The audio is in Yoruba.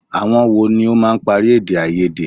Àwọn wo ló máa ń parí èdè-áiyedé?